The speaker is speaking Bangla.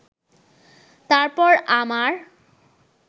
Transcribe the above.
তারপর আমার